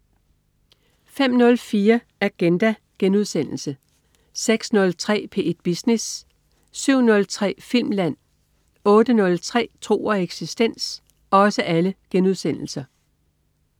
05.04 Agenda* 06.03 P1 Business* 07.03 Filmland* 08.03 Tro og eksistens*